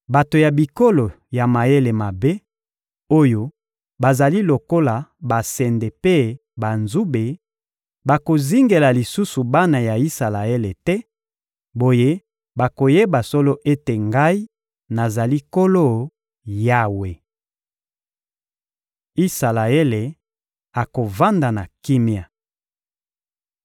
Bato ya bikolo ya mayele mabe, oyo bazali lokola basende mpe banzube, bakozingela lisusu bana ya Isalaele te; boye, bakoyeba solo ete Ngai, nazali Nkolo Yawe. Isalaele akovanda na kimia